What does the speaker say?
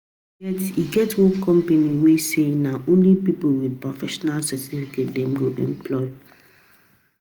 you fit spend more than 2 years to get professional certificate as an engineering student